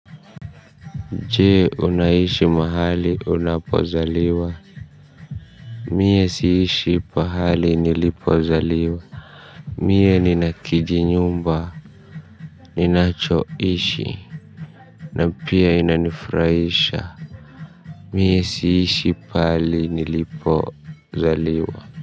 Je unaishi mahali unapozaliwa. Mie siishi pahali nilipozaliwa. Mie ninakijinyumba ninachoishi. Na pia inanifuraisha. Mie siishi pahali nilipozaliwa.